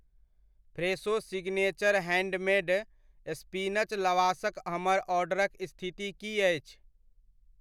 Fresho signature handmade spinach लवाशक हमर ऑर्डरक स्थिति की अछि?